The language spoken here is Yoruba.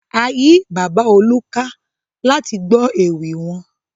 A yí bàbá Olú ká láti gbọ́ ewì wọn.